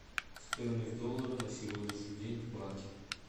стоимость доллара на сегодняшний день в банке